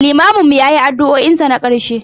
limamin mu ya yi addu'o'in sa na karshe.